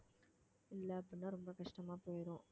இல்லை அப்படின்னா ரொம்ப கஷ்டமா போயிரும்